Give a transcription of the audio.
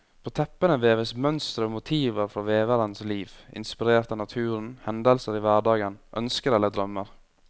På teppene veves mønstre og motiver fra veverens liv, inspirert av naturen, hendelser i hverdagen, ønsker eller drømmer.